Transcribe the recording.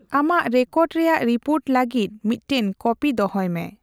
ᱟᱢᱟᱜ ᱨᱮᱠᱚᱨᱰ ᱨᱮᱭᱟᱜ ᱨᱤᱯᱳᱨᱴ ᱞᱟᱹᱜᱤᱫ ᱢᱤᱫᱴᱮᱱ ᱠᱚᱯᱤ ᱫᱚᱦᱚᱭ ᱢᱮ ᱾